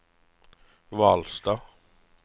Hvalstad